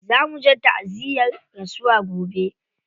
Za muje ta'aziyyar rasuwa gobe.